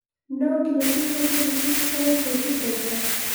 No nginya twĩnyũrie nĩkĩĩ tũkoretwo tũkĩgwa?